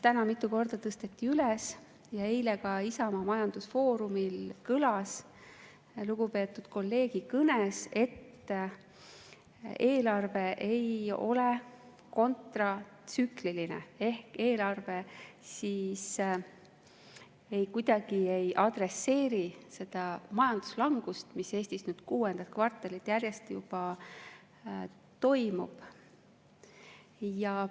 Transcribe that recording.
Täna mitu korda tõsteti üles ja eile ka Isamaa majandusfoorumil kõlas lugupeetud kolleegi kõnes, et eelarve ei ole kontratsükliline ehk eelarve kuidagi ei adresseeri seda majanduslangust, mis Eestis kuuendat kvartalit järjest juba toimub.